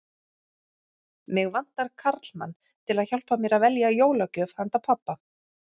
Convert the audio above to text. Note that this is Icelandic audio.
Mig vantar karlmann til að hjálpa mér að velja jólagjöf handa pabba